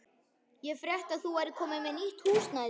Ég frétti að þú værir komin með nýtt húsnæði.